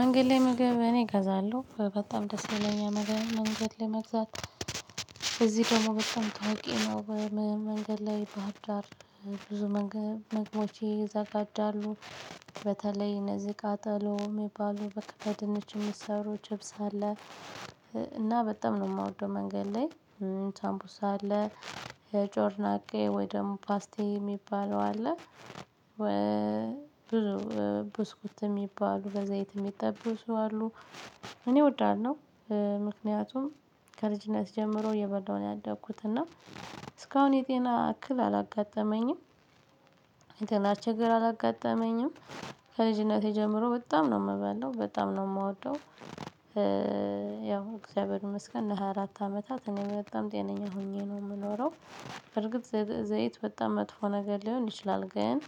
መንገድ ላይ ምግብ እኔ እገዛለሁ በጣም ደስ ይለኛል። መንገድ ላይ መግዛት እዚህ ደግሞ በጣም ታውቂ ነው። መንገድ ላይ በህርዳር ብዙ መግቦች ይዘጋጃሉ። በተለይ እነዚህ ቃጠሎ ሚባሉ በቃ በድንች ሚሰሩ ችብስ አለ። እና በል ላይ ሳምቡስ አለ ጮርናቄ ወይ ደግሞ ፓስቲኒ ሚባለው አለ። ብዙ ብስኩት ሚባሉ በዛይት ሚጠበሱ አሉ። እኔ እወዳለሁና ምክንያቱም ከልጅነት ጀምሮ እየበላሁ ነው ያደግኩት እና እስካሁን የጤና እክል አላጋጠመኝም። የጤና ችግር አላጋጠመኝም። ከልጅነቴ ጀምሮ በጣም ነው ምበላው በጣም ነው ምወደው። ያው እግዚአብሔር ይመስገን ለ ሃያ አራት አመታት እኔ በጣም ጤነኛ ሆኜ ነው ምኖረው። በእርግጥ ዘይት በጣም መጥፎ ነገር ሊሆን ይችላል። ግን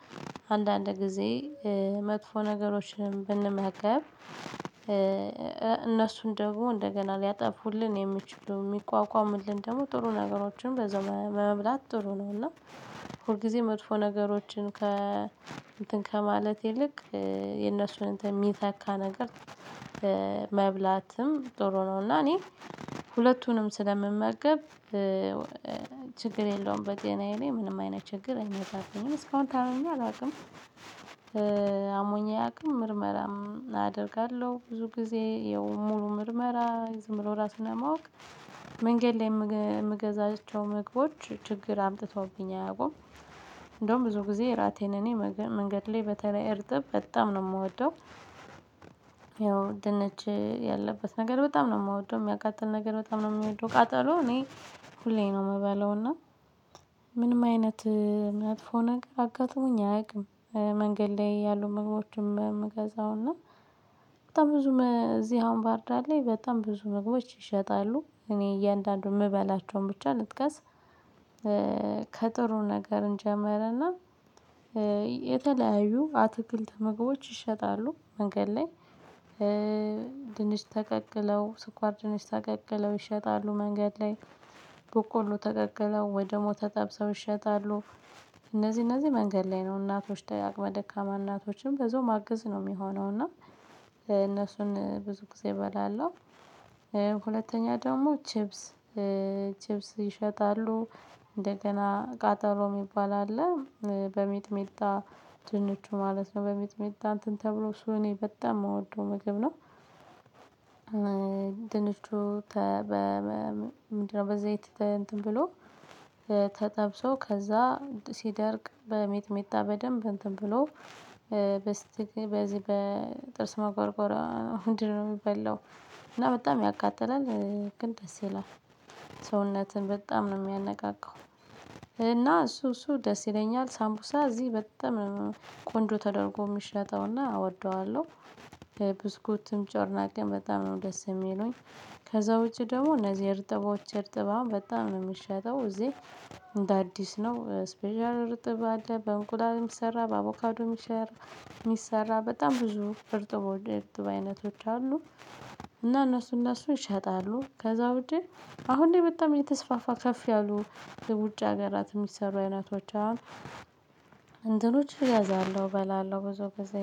አንዳንድ ጊዜ መጥፎ ነገሮችን ብንመገብ። እነሱን ደግሞ እንደገና ሊያጠፉልን የሚችሉ ሚቋቋሙልን ደግሞ ጥሩ ነገሮችን በዛው መብላት ጥሩ ነው። እና ሁልጊዜ መጥፎ ነገሮችን ከ እንትን ከማለት ይልቅ የነሱን እንትን ሚተካ ነገር። መብላትም ጥሩ ነው። እና እና እኔ ሁለቱንም ስለምመገብ ችግር የለውም በጤናዬ ላይ ምንም አይነት ችግር አይመጣብኝም እስካሁን ታምሜ አላቅም። አሞኛ አያቅም ምርመራም አደርጋለሁ ብዙ ጊዜ ያው ሙሉ ምርመራ ዝም ብሎ ራስን ለማወቅ። መንገድ ላይ ምገዛቸው ምግቦች ችግር አምጥተውብኝ አያውቁም። እንደውም ብዙ ጊዜ እራቴን እኔ መንገድ ላይ በተለይ እርጥብ በጣም ነው ምወደው። ያው ድንች ያለበት ነገር በጣም ነው ምወደው ሚያቃጥል ነገር በጣም ነው ሚወደው ቃጠሎ እኔ ሁሌ ነው ምበለው። እና ምንም አይነት መጥፎ ነገር አጋጥሞኝ አያቅም። መንገድ ላይ ያሉ ምግቦችን ምገዛው እና በጣም ብዙ እዚህ አሁን ባህርዳር በጣም ብዙ ምግቦች ይሸጣሉ እኔ እያንዳንዱን ምበላቸውን ብቻ ልጥቀስ። ከጥሩ ነገር እንጀምርና የተለያዩ አትክልት ምግቦች ይሸጣሉ። መንገድ ላይ። ድንች ተቀቅለው ስኳር ድንች ተቀቅለው ይሸጣሉ መንገድ ላይ በቆሎ ተቀቅለው ወይ ደሞ ተጠብሰው ይሸጣሉ። እነዚህ እነዚህ መንገድ ላይ ነው እናቶች ደጋግመ ደካማ እናቶችም በዛው ማገዝ ነው ሚሆነው እና እነሱን ብዙ ጊዜ እበላለሁ። ሁለተኛ ደግሞ ቺፕስ ቺፕስ ይሸጣሉ እንደገና ቃጠሎ ሚባል አለ በሚጥሚጣ ድንቹ ማለት ነው በሚጥሚጣ እንትን ተብሎ እሱ እኔ በጣም ምወደው ምግብ ነው። ድንቹ ተ በ በ ምንድነው? በዘይት እንትን ብሎ ተጠብሶ ከዛ ሲደርቅ በሚጥሚጣ በደንብ እንትን ብሎ በዚህ በጥርስ መጎርጎሪያ እንድነው ሚበላው። እና በጣም ያቃጥላል ግን ደስ ይላል። ሰውነትን በጣም ነው ሚያነቃቃው። እና እሱ እሱ ደስ ይለኛል ሳምቡሳ እዚህ በጣም ቆንጆ ተደርጎ ሚሸጠውና እወደዋለሁ። ብስኩትም ጮርናቄም በጣም ነው ደስ ሚሉኝ። ከዛ ውጪ ደግሞ እነዚህ እርጥቦች እርጥብ አሁን በጣም ነው ሚሸጠው እዚህ። እንደ አዲስ ነው ስፔሻል ርጥብ አለ በእንቁላልም ሚሰራ በአቮካዱም ሚሰራ በጣም ብዙ እርጥቦ የእርጥብ አይነቶች አሉ። እና እነሱ እነሱ ይሸጣሉ ከዛ ውጭ አሁን ላይ በጣም እተስፋፋ ከፍ ያሉ ውጭ ሀገራት ሚሰሩ አይነቶች አሉ። እንትኖች እያዛለሁ እበላለሁ ብዙ ጊዜ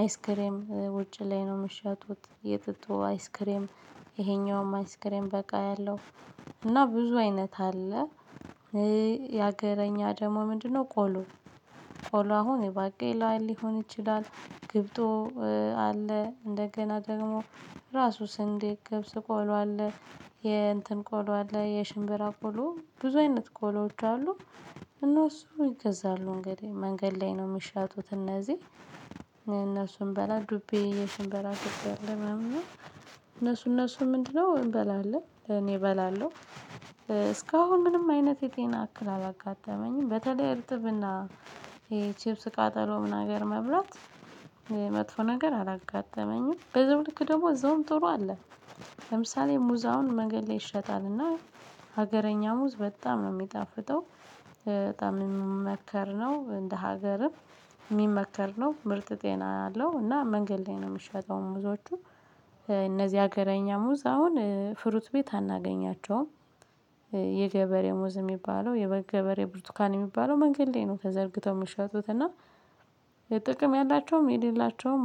አይስክሬም ውጪ ላይ ነው ምሸጡት የጥጦ አይስክሬም። ይሄኛውም አይስክሬም በቃ ያለው እና ብዙ አይነት አለ። የሀገረኛ ደግሞ ምንድነው? ቆሎ ቆሎ አሁን የባቄ ላይ ሊሆን ይችላል። ግብጦ አለ እንደገና ደግሞ ራሱ ስንዴ ገብስ ቆሎ አለ የእንትን ቆሎ አለ የሽምብራ ቆሎ ብዙ አይነት ቆሎዎች አሉ። እነሱ ይገዛሉ እንግዲህ መንገድ ላይ ነው ሚሸጩት እነዚህ እነሱን እንበላ ዱቤ የሽንበራ ሽንበራ አለ ምናምን እነሱ እነሱ ምንድነው እንበላለን እኔ እበላለሁ። እስካሁን ምንም አይነት የጤና እክል አላጋጠመኝም። በተለይ እርጥብና ቺፕስ ቃጠሎ ነገር መብላት መጥፎ ነገር አላጋጠመኝም። በዛው ልክ ደግሞ እዛውም ጥሩ አለ። ለምሳሌ ሙዝ አሁን መንገድ ላይ ይሸጣልና ሀገረኛ ሙዝ በጣም ነው ሚጣፍጠው። በጣም ሚመከር ነው እንደ ሀገርም ሚመከር ነው ምርጥ ጤና አለው። እና መንገድ ላይ ነው ምሸጠው ሙዞቹ። እነዚህ ሀገረኛ ሙዝ አሁን ፍሩት ቤት አናገኛቸውም። የገበሬ ሙዝ ሚባለው የገበሬ ብርቱካን ሚባለው መንገድ ላይ ነው ተዘርግተው ምሸጡት እና ጥቅም ያላቸውም የሌላቸውም